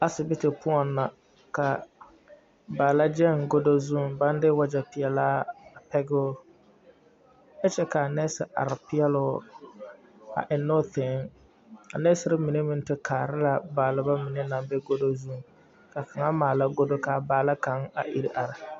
A sibiti poɔŋ na ka baala gyɛŋ godo zuŋ baŋ de wagyɛpeɛlaa ɛgoo kyɛ ka a nɛɛse are peɛle o a ennɛ o tee a nɛɛsere mine meŋ te kaara la baaleba mine naŋ be godo zu ka kaŋa maala godo ka a baala kaŋ a ire are.